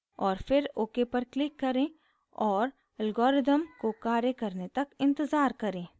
और फिर ok पर क्लिक करें और algorithm को कार्य करने तक इंतज़ार करें